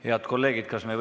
Head kolleegid!